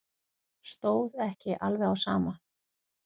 Stóð ekki alveg á sama.